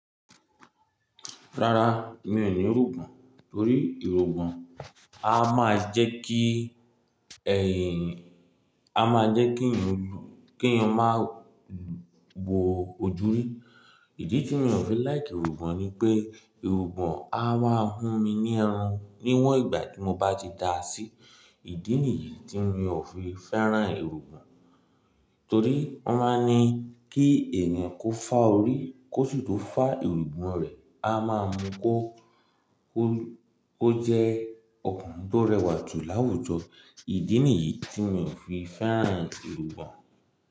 Rárá, mi ò ní irùgbọ̀n Torí irúgbìn a máa ń jẹ́ kí ẹ̀yìn, a máa ń jẹ́ kí èyi, kí èèyàn má gbo ojúrí. Ìdí tí mi ò fi like irùgbọ̀n ni pé, irùgbọ̀n a máa ń hú mi ní irun níwọ̀n ìgbà tí mo bá ti dáa sí. Ìdí nìyí tí mi ò fi fẹ́ràn irùgbọ̀n Torí wọ́n máa ń ní kí ènìyàn kó fá orí, kó sì tó fá irúgbìn rẹ̀, a máa mú kó, kó, ó jẹ́ ọkùnrin tó rẹwà jù láwùjọ. Ìdí nìyí tí mi ò fi fẹ́ràn ìrúgbìn.